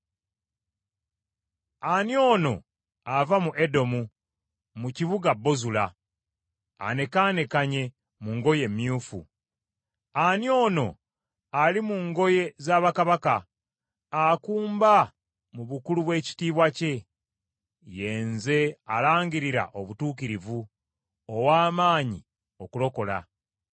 Ani ono ava mu Edomu mu kibuga Bozula anekaanekanye mu ngoye emyufu. Ani ono ali mu ngoye za bakabaka akumba mu bukulu bw’ekitiibwa kye? “Ye nze alangirira obutuukirivu, ow’amaanyi okulokola.”